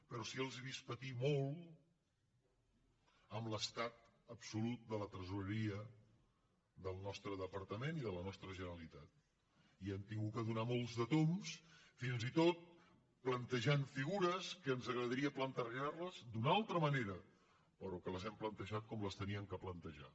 però sí que els he vist patir molt amb l’estat absolut de la tresoreria del nostre departament i de la nostra generalitat i han hagut de donar molts de tombs fins i tot plantejant figures que ens agradaria plantejarles d’una altra manera però que les hem plantejat com les havíem de plantejar